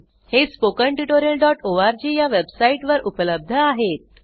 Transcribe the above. हे spoken tutorialओआरजी या वेबसाइट वर उपलब्ध आहेत